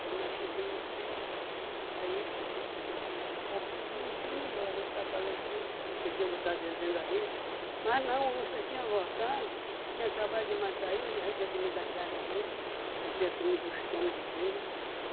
Quando nós cheguemos assim, aí o português foi e disse, rapaz, o homem está melhor, a rede está balançando, que eles tinham botado ele dentro da rede, mas não, a onça tinha voltado, tinha acabado de matar ele, já tinha comido a cara dele, já tinha comido o estômago dele.